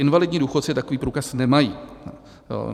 Invalidní důchodci takový průkaz nemají.